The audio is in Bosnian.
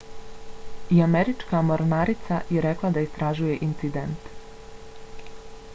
i američka mornarica je rekla da istražuje incident